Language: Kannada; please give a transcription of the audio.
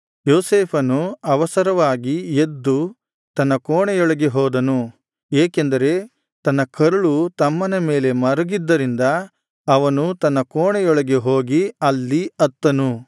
ಯೋಸೇಫನು ಅವಸರವಾಗಿ ಎದ್ದು ತನ್ನ ಕೋಣೆಯೊಳಗೆ ಹೋದನು ಏಕೆಂದರೆ ತನ್ನ ಕರಳು ತಮ್ಮನ ಮೇಲೆ ಮರುಗಿದ್ದರಿಂದ ಅವನು ತನ್ನ ಕೋಣೆಯೊಳಗೆ ಹೋಗಿ ಅಲ್ಲಿ ಅತ್ತನು